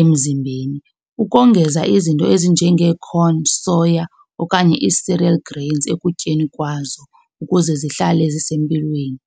emzimbeni. Ukongeza izinto ezinjenge-corn, soya okanye ii-cereal grains ekutyeni kwazo ukuze zihlale zisempilweni.